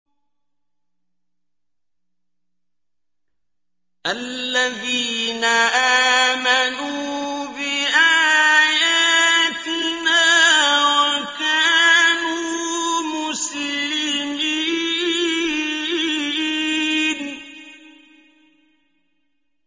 الَّذِينَ آمَنُوا بِآيَاتِنَا وَكَانُوا مُسْلِمِينَ